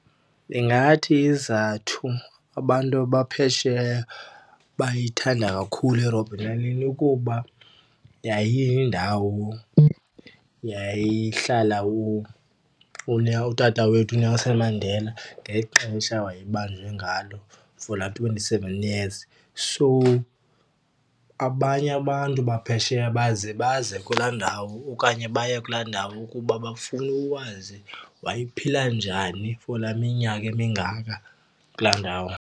Ndingathi isizathu abantu abaphesheya bayithanda kakhulu iRobben Island ukuba yayiyindawo yayilahla utata wethu uNelson Mandela ngexesha waye ebanjwe ngalo for laa twenty-seven years. So abanye abantu baphesheya baze baze kulaa ndawo okanye baye kulaa ndawo kuba bafuna ukwazi wayephila njani for laa minyaka mingaka kulaa ndawo.